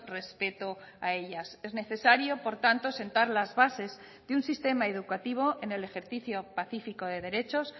respeto a ellas es necesario por tanto sentar las bases de un sistema educativo en el ejercicio pacífico de derechos